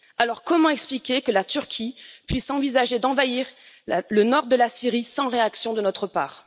Alors comment expliquer que la Turquie puisse envisager d'envahir le nord de la Syrie sans réaction de notre part?